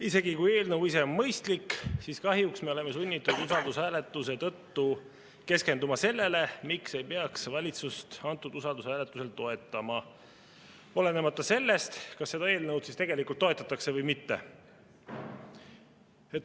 Isegi kui eelnõu ise on mõistlik, siis kahjuks me oleme sunnitud usaldushääletuse tõttu keskenduma sellele, miks ei peaks valitsust antud usaldushääletusel toetama, olenemata sellest, kas seda eelnõu toetatakse või mitte.